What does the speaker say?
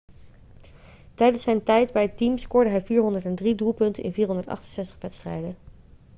tijdens zijn tijd bij het team scoorde hij 403 doelpunten in 468 wedstrijden